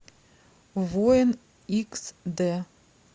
воин икс дэ